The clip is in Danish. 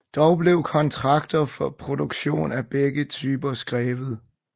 Dog blev kontrakter for produktion af begge typer skrevet